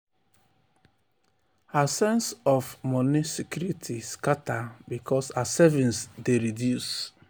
her sense of of moni security scata because her savings dey reduce.